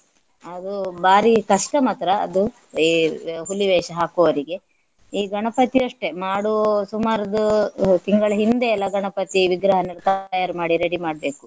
ಅದು ಭಾರಿ ಕಷ್ಟ ಮಾತ್ರ ಅದು ಈ ಹುಲಿವೇಷ ಹಾಕುವವರಿಗೆ. ಈ ಗಣಪತಿ ಅಷ್ಟೇ ಮಾಡುವು ಸುಮಾರ್ದು ತಿಂಗಳು ಹಿಂದೆ ಎಲ್ಲಾ ಗಣಪತಿ ವಿಗ್ರಹ ಎಲ್ಲ ತಯ್ಯಾರಿ ಮಾಡಿ ready ಮಾಡ್ಬೇಕು.